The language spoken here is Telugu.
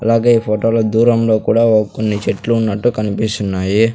అలాగే ఈ ఫోటో లో దూరంలో కూడా ఓ కొన్ని చెట్లున్నట్టు కన్పిస్తున్నాయి.